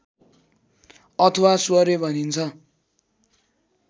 अथवा स्वरे भनिन्छ